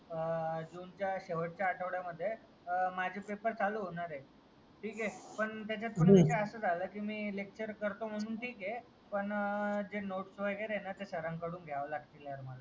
जूनच्या शेवटच्या आठवड्या मध्ये माझे पेपर चालू होणार आहेत. ठीक आहे त्याचात पण असा झाला की मी लेक्चर करतो म्हणून ठीक आहे पण जे नोट्स वगेरा आहे ना ते सरांकडून घ्यावा लागेल.